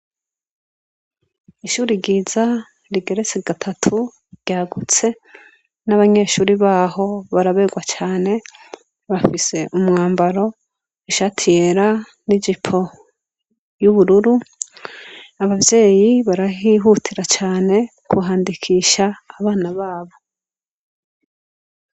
Ishuri ryiza rigeretse gatatu ryagutse n'abanyeshuri baho baraberwa cane bafise umwambaro ishati yera n'ijipo y'ubururu abavyeyi barahihutira cane kuhandikisha abana baho waw.